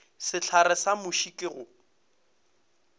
sehlare sa muši ke go